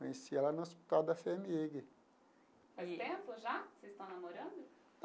Conheci ela no hospital da FHEMIG. Faz tempo já que vocês estão namorando?